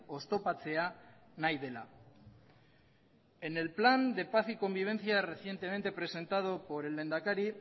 oztopatzea nahi dela en el plan de paz y convivencia recientemente presentado por el lehendakari